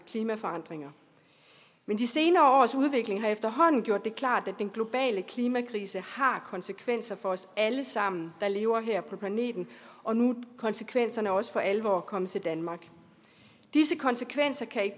klimaforandringer men de senere års udvikling har efterhånden gjort det klart at den globale klimakrise har konsekvenser for os alle sammen der lever her på planeten og nu er konsekvenserne også for alvor kommet til danmark disse konsekvenser kan i